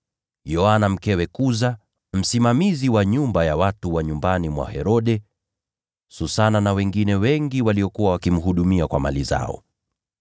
Yoana mkewe Kuza, msimamizi wa nyumba ya watu wa nyumbani mwa Herode; Susana; na wengine wengi waliokuwa wakimhudumia kwa mali zao.